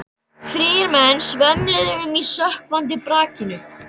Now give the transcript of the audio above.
Þrír menn svömluðu um í sökkvandi brakinu.